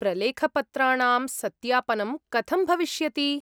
प्रलेखपत्राणां सत्यापनं कथं भविष्यति?